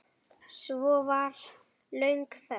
Svo var löng þögn.